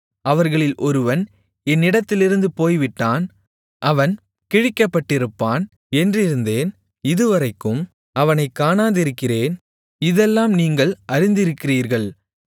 அவர்களில் ஒருவன் என்னிடத்திலிருந்து போய்விட்டான் அவன் கிழிக்கப்பட்டிருப்பான் என்றிருந்தேன் இதுவரைக்கும் அவனைக் காணாதிருக்கிறேன் இதெல்லாம் நீங்கள் அறிந்திருக்கிறீர்கள்